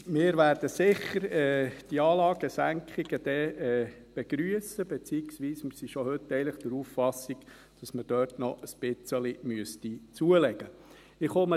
Wir werden diese Anlagensenkungen dann sicher begrüssen, beziehungsweise, wir sind schon heute eigentlich der Auffassung, dass man dort noch ein wenig zulegen müsste.